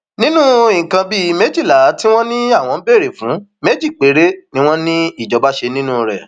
nínú nǹkan bíi méjìlá tí wọn ní àwọn ń béèrè fún méjì péré ni wọn ní ìjọba ṣe nínú rẹ